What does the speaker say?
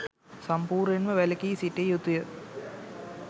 සම්පූර්ණයෙන්ම වැළකී සිටිය යුතුය.